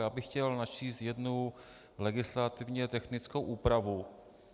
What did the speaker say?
Já bych chtěl načíst jednu legislativně technickou úpravu.